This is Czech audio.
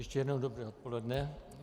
Ještě jednou dobré odpoledne.